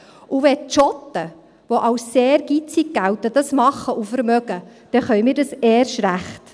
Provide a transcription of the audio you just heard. Und wenn die Schotten, die als sehr geizig gelten, das machen und sich leisten können, dann können wir das erst recht.